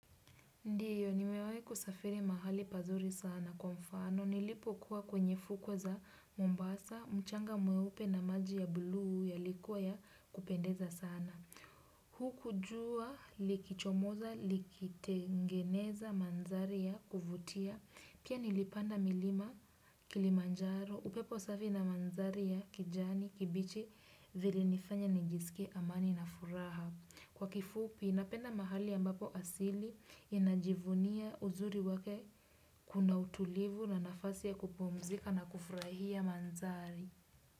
Ndiyo, nimewahi kusafiri mahali pazuri sana kwa mfano, nilipo kuwa kwenye fukwe za Mombasa, mchanga mweupe na maji ya bluu yalikua ya kupendeza sana. Hukujua likichomoza, likitengeneza mandhari ya kuvutia, pia nilipanda milima kilimanjaro, upepo safi na mandhari ya kijani kibichi vili nifanya nijisike amani na furaha. Kwa kifupi inapenda mahali ambapo asili inajivunia uzuri wake kuna utulivu na nafasi ya kupumzika na kufurahia mandhari.